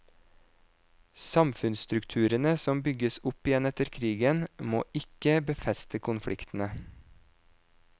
Samfunnsstrukturene som bygges opp igjen etter krigen, må ikke befeste konfliktene.